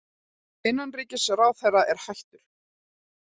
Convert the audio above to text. Innanríkisráðherrann er hættur